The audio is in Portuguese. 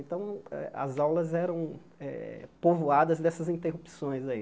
Então, as aulas eram eh povoadas dessas interrupções aí.